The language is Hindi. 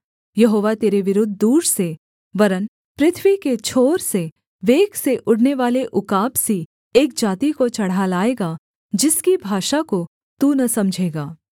यहोवा तेरे विरुद्ध दूर से वरन् पृथ्वी के छोर से वेग से उड़नेवाले उकाब सी एक जाति को चढ़ा लाएगा जिसकी भाषा को तू न समझेगा